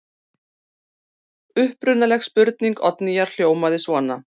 Upprunaleg spurning Oddnýjar hljómaði svona: